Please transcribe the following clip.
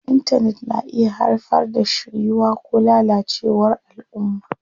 Intanet na iya haifar da shiryuwa ko lalacewar alʼumma.